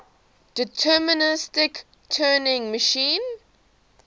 deterministic turing machine